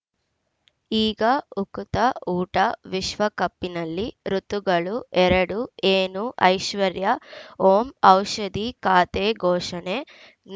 ಈಗ ಉಕುತ ಊಟ ವಿಶ್ವಕಪ್ಪಿನಲ್ಲಿ ಋತುಗಳು ಎರಡು ಏನು ಐಶ್ವರ್ಯಾ ಓಂ ಔಷಧಿ ಖಾತೆ ಘೋಷಣೆ